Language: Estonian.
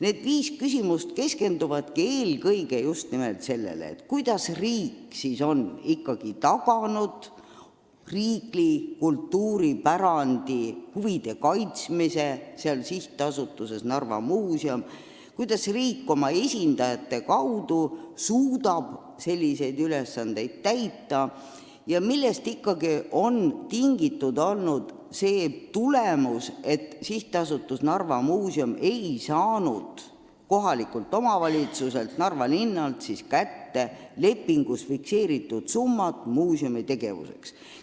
Need viis küsimust keskenduvadki eelkõige just nimelt sellele, kuidas riik ikkagi on taganud riigi kultuuripärandi huvide kaitsmise seal SA-s Narva Muuseum, kuidas riik oma esindajate kaudu suudab selliseid ülesandeid täita ja millest ikkagi on tingitud, et SA Narva Muuseum ei saanud kohalikult omavalitsuselt, Narva linnalt kätte lepingus fikseeritud summat muuseumi tegevuseks.